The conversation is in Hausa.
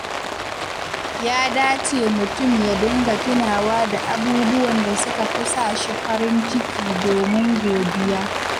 Ya dace mutum ya dinga tunawa da abubuwan da suka fi sa shi farin ciki domin godiya.